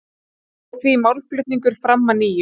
Fór því málflutningur fram að nýju